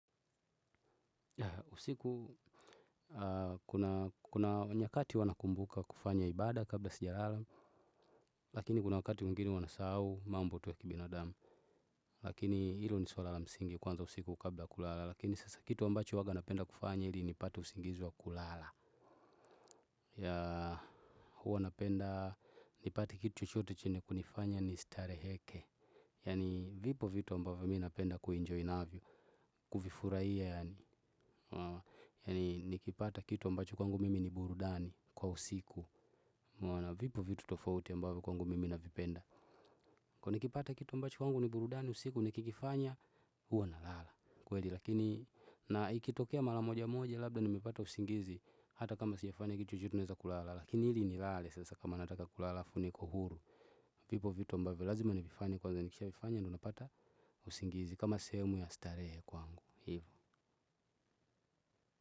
Usiku kuna nyakati huwa nakumbuka kufanya ibaada kabla sijalala. Lakini kuna wakati mwingini huwa nasau mambo tu ya kibinadamu. Lakini ilo ni suala la msingi kuanza usiku kabla ya kulala. Lakini sasa kitu ambacho huwaga napenda kufanya ili nipate usingizi wa kulala. Ya huwa napenda nipate kitu chochoto chenye kunifanya ni stareheke. Yani vipo vitu ambavo mi napenda kuenjoy naavyo. Kufufuraia yani yani nikipata kitu ambacho kwangu mimi ni burudani kwa usiku umeona vipo vitu tofauti ambavo kwangu mimi navipenda. Kwa nikipata kitu ambacho kwangu ni burudani usiku nikikifanya huwa na lala. Kweli lakini na ikitokea mala moja moja labda nimepata usingizi. Hata kama sijafanya kitu chochote naeza kulala. Lakini hili ni lale sasa kama nataka kulala alafu niko huru. Vipo vitu ambavyo lazima nivifanye kwanza nikisha vifanya ndo napata usingizi kama sehemu ya starehe kwangu. Hivo.